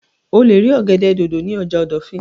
O lè rí ọ̀gẹ̀dẹ̀ dòdò ní ọjà ìdọ̀fìn